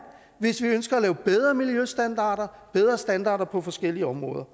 hvis vi ønsker at lave bedre miljøstandarder bedre standarder på forskellige områder